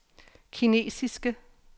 kinesiske